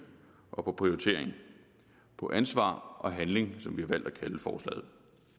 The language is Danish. og på prioritering på ansvar og handling som vi har valgt at kalde forslaget